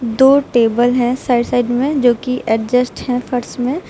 दो टेबल है side side में जो कि एडजस्ट है फर्श में।